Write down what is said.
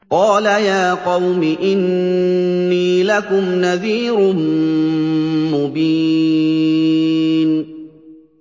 قَالَ يَا قَوْمِ إِنِّي لَكُمْ نَذِيرٌ مُّبِينٌ